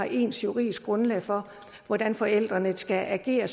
ens juridisk grundlag for hvordan forældrene skal agere